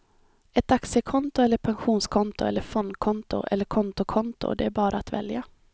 Ett aktiekonto eller pensionskonto eller fondkonto eller kontokonto, det är bara att välja.